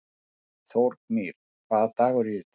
Þórgnýr, hvaða dagur er í dag?